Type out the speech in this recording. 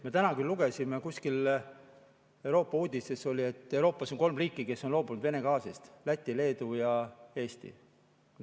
Me täna küll lugesime, kuskil Euroopa uudistes oli, et Euroopas on kolm riiki, kes on loobunud Vene gaasist: Läti, Leedu ja Eesti.